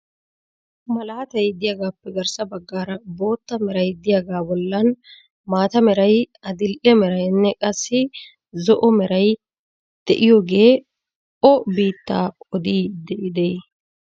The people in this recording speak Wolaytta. Malaatay diyaagappe garssa baggaara bootta meray diyaagaa bollan maata meray, adil"e merayinne qassi zo"o meray de'iyoogee o biittaa odiidi de'ii?